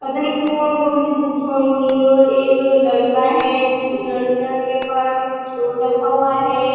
पता नही कोन-कोन सी बुक होएगी और एक लड़का है। जिस लड़का के पास एक स्टोर रखा हुआ है।